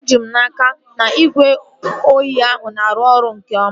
Eji m n'aka, na igwe nju oyi ahụ na-arụ ọrụ nke oma